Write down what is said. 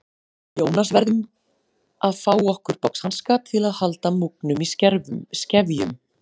Jónas verðum að fá okkur boxhanska til að halda múgnum í skefjum.